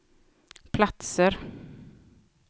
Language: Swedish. platser